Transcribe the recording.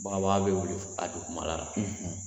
Bagabaga bɛ wili a dugumana la